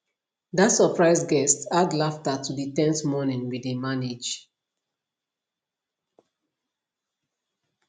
that surprise guest add laughter to the ten se morning we dey manage